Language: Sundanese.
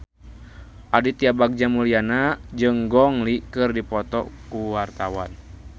Aditya Bagja Mulyana jeung Gong Li keur dipoto ku wartawan